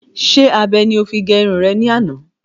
Sé abe ni o fi gé irun rẹ ní àná?